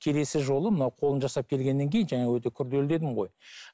келесі жолы мынау қолын жасап келгеннен кейін жаңа өте күрделі дедім ғой